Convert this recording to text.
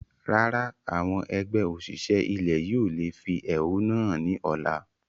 Rárá, àwọn ẹgbẹ́ òṣìṣẹ́ ilẹ̀ yí o lè fi ẹhónú hàn ni ọ̀la.